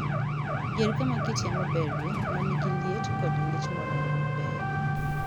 Yier kama kit yamo berie ma nigi liet kod ng'ich moromo maber .